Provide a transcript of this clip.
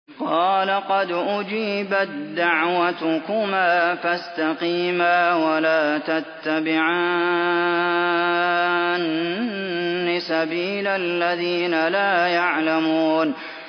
قَالَ قَدْ أُجِيبَت دَّعْوَتُكُمَا فَاسْتَقِيمَا وَلَا تَتَّبِعَانِّ سَبِيلَ الَّذِينَ لَا يَعْلَمُونَ